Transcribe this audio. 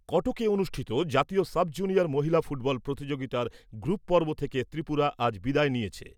কটকে অনুষ্ঠিত জাতীয় sub junior মহিলা ফুটবল প্রতিযোগিতার গ্রুপ পর্ব থেকে ত্রিপুরা আজ বিদায় নিয়েছে ।